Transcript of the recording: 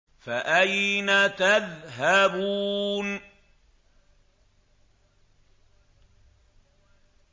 فَأَيْنَ تَذْهَبُونَ